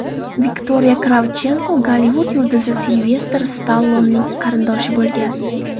Viktoriya Kravchenko Gollivud yulduzi Silvestr Stallonening qarindoshi bo‘lgan.